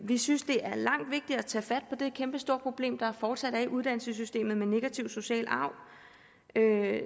vi synes det er langt vigtigere at tage fat på det kæmpestore problem der fortsat er i uddannelsessystemet med negativ social arv der